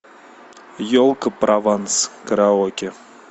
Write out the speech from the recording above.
елка прованс караоке